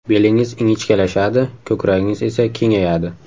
Belingiz ingichkalashadi, ko‘kragingiz esa kengayadi.